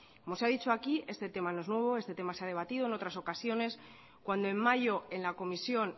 como se ha dicho aquí este tema no es nuevo este tema se ha debatido en otras ocasiones cuando en mayo en la comisión